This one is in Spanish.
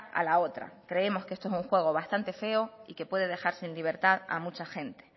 a la otra creemos que esto es un juego bastante feo y que puede dejarse en libertad a mucha gente